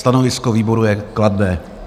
Stanovisko výboru je kladné.